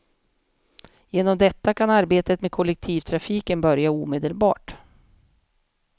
Genom detta kan arbetet med kollektivtrafiken börja omedelbart.